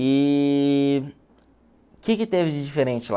E que que teve de diferente lá?